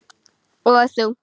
Og þungt.